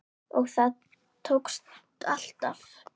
Og það tókst alltaf.